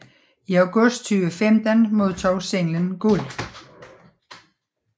I august 2015 modtog singlen guld